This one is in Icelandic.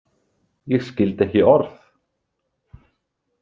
Ég skildi ekki orð.